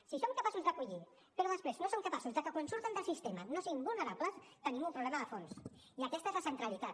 si som capaços d’acollir però després no som capaços de que quan surten del sistema no siguin vulnerables tenim un problema de fons i aquesta és la centralitat